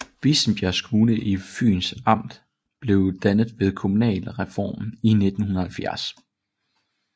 Vissenbjerg Kommune i Fyns Amt blev dannet ved kommunalreformen i 1970